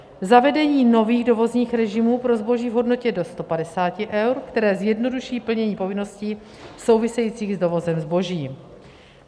Zavedení nových dovozních režimů pro zboží v hodnotě do 150 eur, které zjednoduší plnění povinností souvisejících s dovozem zboží.